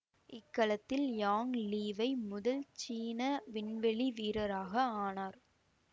இக்கலத்தில் Yang Liwei முதல் சீன விண்வெளி வீரராக ஆனார்